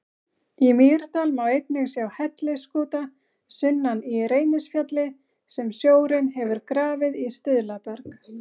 Í Mýrdal má einnig sjá hellisskúta sunnan í Reynisfjalli sem sjórinn hefur grafið í stuðlaberg.